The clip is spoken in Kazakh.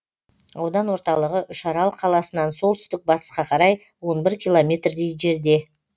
аудан орталығы үшарал қаласынан солтүстік батысқа қарай он бір километрдей жерде